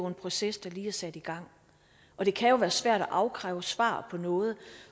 en proces der lige er sat i gang og det kan jo være svært at afkræve svar på noget